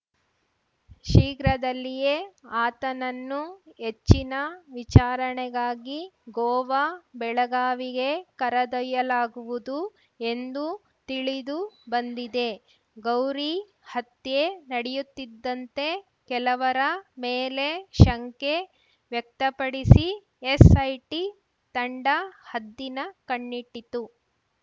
ಶೀಘ್ರದಲ್ಲಿಯೇ ಆತನನ್ನು ಹೆಚ್ಚಿನ ವಿಚಾರಣೆಗಾಗಿ ಗೋವಾ ಬೆಳಗಾವಿಗೆ ಕರೆದೊಯ್ಯಲಾಗುವುದು ಎಂದು ತಿಳಿದು ಬಂದಿದೆ ಗೌರಿ ಹತ್ಯೆ ನಡೆಯುತ್ತಿದ್ದಂತೆ ಕೆಲವರ ಮೇಲೆ ಶಂಕೆ ವ್ಯಕ್ತಪಡಿಸಿ ಎಸ್‌ಐಟಿ ತಂಡ ಹದ್ದಿನ ಕಣ್ಣಿಟ್ಟಿತ್ತು